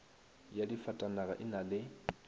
ya difatanaga e na le